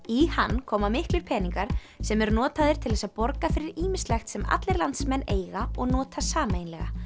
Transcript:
í hann koma miklir peningar sem eru notaðir til þess að borga fyrir ýmislegt sem allir landsmenn eiga og nota sameiginlega